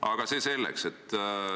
Aga see selleks.